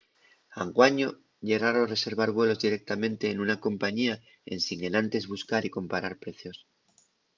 anguaño ye raro reservar vuelos directamente nuna compañía ensin enantes buscar y comparar precios